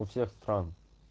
всех стран